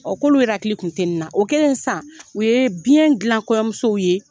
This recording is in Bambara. Ɔn k'olu yɛrɛ hakili kun tɛ na. O kɛlen sisan u ye biɲɛn gilan kɔɲɔmusow ye